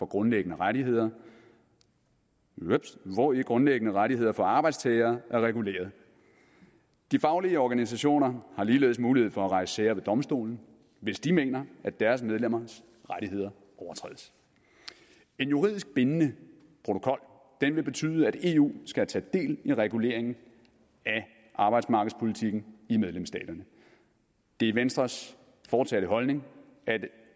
grundlæggende rettigheder hvori grundlæggende rettigheder for arbejdstagere er reguleret de faglige organisationer har ligeledes mulighed for at rejse sager ved domstolen hvis de mener at deres medlemmers rettigheder overtrædes en juridisk bindende protokol vil betyde at eu skal tage del i reguleringen af arbejdsmarkedspolitikken i medlemsstaterne det er venstres fortsatte holdning at